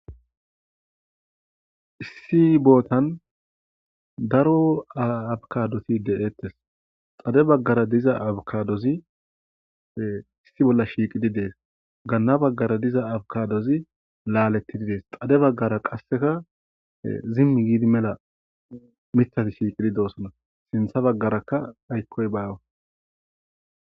issi bootan daro abukadoti de7ettes xade baggara diza abkadozi issi bolla shiiqidi dees ganna baggara diza abkadozi laalettididees xade baggara qasseka zimmi giidi mela mithati shiiqidi doosona sintha baggarakka aykkoy baawa